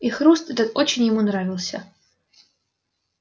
и хруст этот очень ему нравился